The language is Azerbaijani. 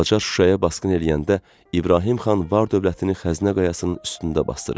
Qacar Şuşaya basqın eləyəndə İbrahim xan var-dövlətini Xəzinə Qayasının üstündə basdırır.